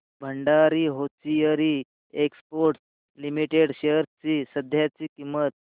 Bhandari hosiery exports limited shares ची सध्याची किंमत